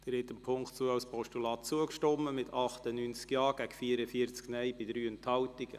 Sie haben die Ziffer 2 als Postulat angenommen mit 98 Ja- bei 44 Nein-Stimmen und 3 Enthaltungen.